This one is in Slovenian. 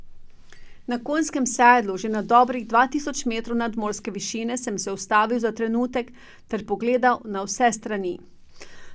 Na Konjskem sedlu, že na dobrih dva tisoč metrov nadmorske višine, sem se ustavil za trenutek ter pogledal na vse strani.